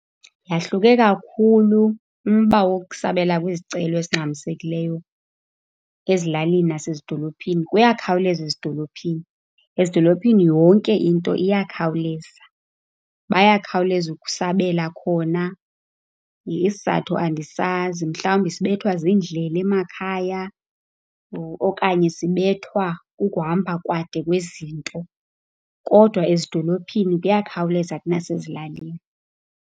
Yahluke kakhulu umba wokusabela kwezicelo ezingxamisekileyo ezilalini nasezidolophini, kuyakhawuleza ezidolophini. Ezidolophini yonke into iyakhawuleza. Bayakhawuleza ukusabela khona isizathu andisazi. Mhlawumbi sibethwa ziindlela emakhaya or okanye sibethwa kukuhamba kade kwezinto, kodwa ezidolophini kuyakhawuleza kunasezilalini.